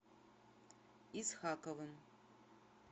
исхаковым